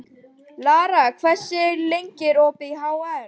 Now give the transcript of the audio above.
Lara, hvað er lengi opið í HR?